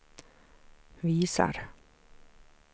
visar